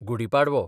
Gudi Padwa